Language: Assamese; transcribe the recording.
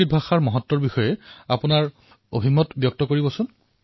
অতঃ সংস্কৃতস্য মহত্বঃ বিষয়ে ভৱতঃ গহঃ অভিপ্ৰায়ঃ ইতি ৰূপয়াবদতু